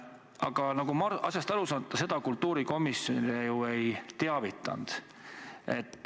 Aga nagu ma aru saan, ta sellest kultuurikomisjoni ju ei teavitanud.